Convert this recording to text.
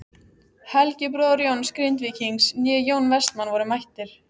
Helgi bróðir Jóns Grindvíkings né Jón Vestmann voru mættir.